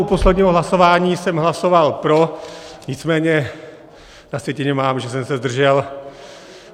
U posledního hlasování jsem hlasoval pro, nicméně na sjetině mám, že jsem se zdržel.